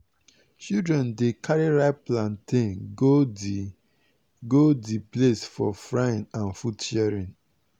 children dey carry ripe plantain go the go the place for frying and food sharing.